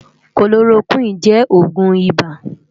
Kólórókwin jè ógún ibá